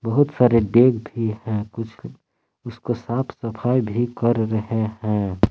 बहुत सारे डेग भी है कुछ उसको साफ सफाई भी कर रहे हैं।